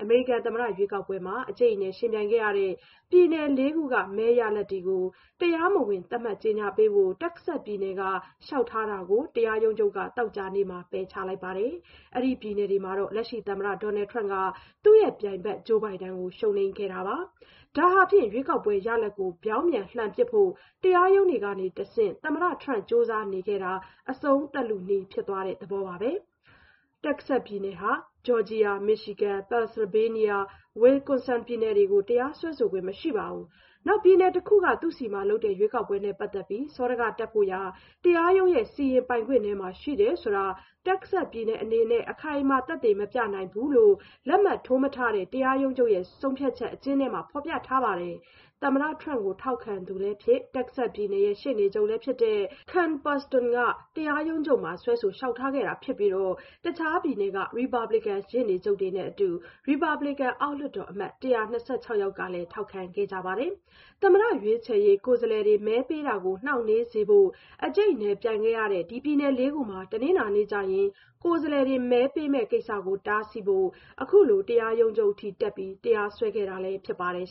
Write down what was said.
မေရိကန်သမ္မတရွေးကောက်ပွဲမှာ အကြိတ်အနယ် ယှဉ်ပြိုင်ခဲ့ရတဲ့ ပြည်နယ် ၄ ခုက မဲရလဒ်တွေကို တရားမဝင်အဖြစ် သတ်မှတ်ကြေညာပေးဖို့ တက္ကဆက်စ်ပြည်နယ်က လျှောက်ထားတာကို တရားရုံးချုပ်က သောကြာနေ့မှာ ပယ်ချလိုက်ပါတယ်။ အဲဒီပြည်နယ်တွေမှာ သမ္မတ Donald Trump က သူ့ရဲ့ပြိုင်ဘက် Joe Biden ကို ရှုံးနိမ့်ခဲ့တာပါ။ ဒါဟာဖြင့် ရွေးကောက်ပွဲရလဒ်ကို ပြောင်းပြန်လှန်ပစ်ဖို့ တရားရုံးတွေကနေတဆင့် သမ္မတ Trump ကြိုးစားနေခဲ့တာ အဆုံးသတ်လုနီး ဖြစ်သွားတဲ့သဘောပါပဲ။ တက္ကဆက်စ်ပြည်နယ်ဟာ ဂျော်ဂျီယာ၊ မီရှီဂန်၊ ပန်ဆယ်လ်ဗေးနီးယားနဲ့ ဝစ္စကွန်ဆင်ပြည်နယ်တွေကို တရားစွဲဆိုခွင့်မရှိဘူး၊ နောက်ပြည်နယ်တခုက သူ့ဆီမှာလုပ်တဲ့ ရွေးကောက်ပွဲနဲ့ ပတ်သက်ပြီး စောဒကတက်ဖို့ရာ တရားရုံးရဲ့ စီရင်ပိုင်ခွင့်ထဲမှာ ရှိတယ်ဆိုတာကို တက္ကဆက်စ်ပြည်နယ်အနေနဲ့ အခိုင်အမာ သက်သေမပြနိုင်ဘူးလို့ လက်မှတ်ထိုးမထားတဲ့ တရားရုံးချုပ်ဆုံးဖြတ်ချက် အကျဉ်းထဲမှာ ဖော်ပြထားပါတယ်။ သမ္မတ Trump ကို ထောက်ခံသူလည်းဖြစ်၊ တက္ကဆက်စ်ပြည်နယ် ရှေ့နေချုပ်လည်းဖြစ်တဲ့ Ken Paxton က တရားရုံးချုပ်မှာ စွဲဆိုလျှောက်ထားခဲ့တာဖြစ်ပြီး တခြားပြည်နယ်တွေက ရီပတ်ဘလစ်ကန် ရှေ့နေချုပ်တွေနဲ့အတူ ရီပတ်ဘလစ်ကန် အောက်လွှတ်တော်အမတ် ၁၂၆ ယောက်တို့ကလည်း ထောက်ခံခဲ့ကြပါတယ်။ သမ္မတရွေးချယ်ရေးအဖွဲ့ ကိုယ်စားလှယ်တွေ မဲပေးတာကို နှောင့်နှေးစေဖို့ အကြိတ်အနယ်ပြိုင်ခဲ့ရတဲ့ ပြည်နယ် ၄ ခုမှာ တနင်္လာနေ့ကျရင် ကိုယ်စားလှယ်တွေ မဲပေးမယ့်ကိစ္စကို တားဆီးဖို့ အခုလို တရားရုံးချုပ်ထိတက်ပြီး တရားစွဲဆိုခဲ့တာ ဖြစ်ပါတယ်